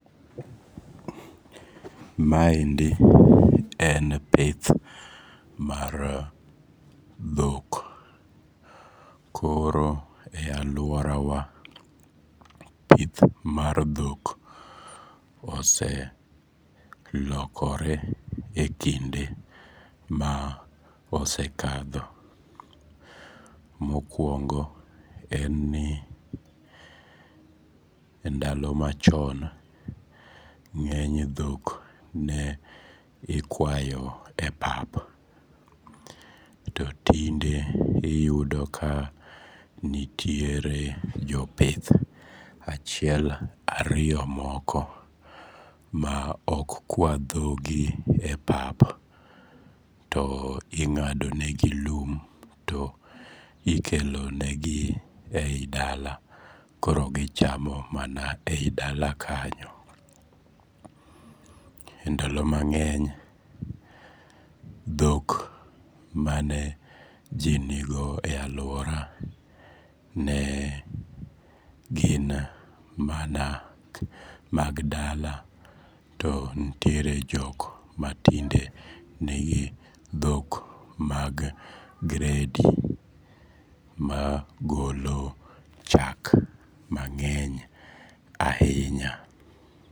Maendi en pith mar dhok koro ealuorawa pith mar dhok oselokore e kinde ma osekadho. Mokuongo en ni endalo machon, ng'eny dhok ne ikwayo e pap to tinde iyudo ka nitiere jopith achiek ariyo moko maok kwa dhogi e pap. To ing'ado negi lum to ikelonegi ei dala to koro gichamo mana ei dala kanyo. Ndalo mang'eny dhok mane ji nigo e aluora ne ginmana mag dala to nitiere jok matinde nigi dhok mag gredi magolo chak mang'eny ahinya